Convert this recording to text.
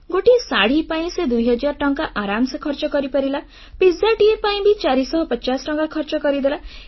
ଗୋଟିଏ ଶାଢ଼ୀ ପାଇଁ ସେ ଦୁଇହଜାର ଟଙ୍କା ଆରାମରେ ଖର୍ଚ୍ଚ କରିପାରିଲା ପିଜାଟିଏ ପିଜ୍ଜା ପାଇଁ ବି ଚାରିଶହ ପଚାଶ ଟଙ୍କା ଖର୍ଚ୍ଚ କରିଦେଲା